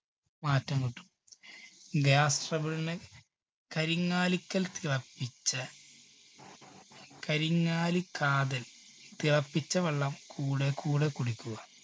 മാറ്റം കിട്ടും. gas trouble ന് കരിങ്ങാലിക്കൽ തിളപ്പിച്ച കരിങ്ങാലി കാതൽ തിളപ്പിച്ച വെള്ളം കൂടെ കൂടെ കുടിക്കുക.